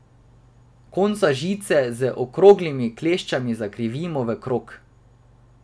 Konca žice z okroglimi kleščami zakrivimo v krog.